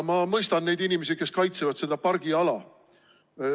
Ma mõistan neid inimesi, kes kaitsevad seda pargiala.